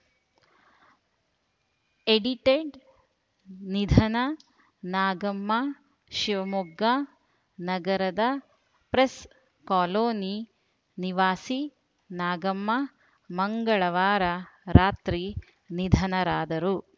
edited ನಿಧನ ನಾಗಮ್ಮ ಶಿವಮೊಗ್ಗ ನಗರದ press colony ನಿವಾಸಿ ನಾಗಮ್ಮ ಮಂಗಳವಾರ ರಾತ್ರಿ ನಿಧನರಾದರು